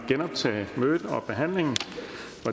genoptage mødet og behandlingen